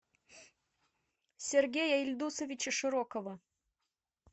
сергея ильдусовича широкова